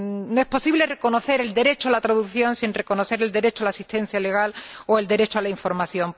No es posible reconocer el derecho a la traducción sin reconocer el derecho a la asistencia legal o el derecho a la información.